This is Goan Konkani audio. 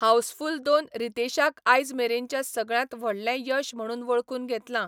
हाऊसफुल दोन रितेशाक आयज मेरेनचें सगळ्यांत व्हडलें यश म्हणून वळखून घेतलां.